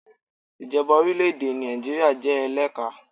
Ìjọba orílẹ̀ èdè Nàìjíríà jẹ́ eléka